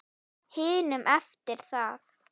hinum eftir það.